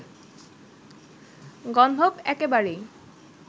গন্ধব একেবারেই